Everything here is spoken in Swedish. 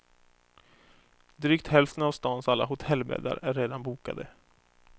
Drygt hälften av stans alla hotellbäddar är redan bokade.